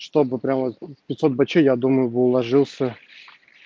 чтобы прямо пятьсот бачей я думаю бы уложился